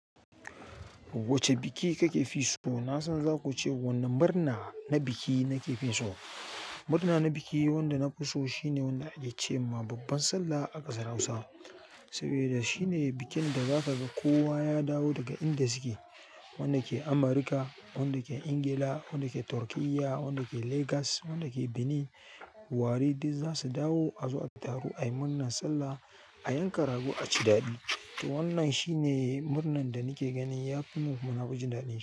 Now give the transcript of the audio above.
Wacce biki kakefi so? Na san za kuce wanne murna na biki nake fin so. Murna na biki wanda nafi so shine wanda ake ce ma babban Sallah a ƙasar Hausa. Saboda shine bikin da zaka ga kowa ya dawo daga inda suke. Wanda ke Amurka, wanda ke Ingila, wanda ke Turkiyya, wanda ke Legas, wanda ke Benin, Warri duk zasu dawo a zo a taru ai murna, Sallah, a yanka rago, a ci daɗi. To wannan shine murnan da nake gani yafi mun kuma nafi ji daɗin.